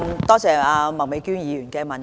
多謝麥美娟議員的補充質詢。